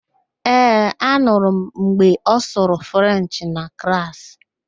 Ee, anụrụ m mgbe ọ sụrụ Frenchị na klaasị.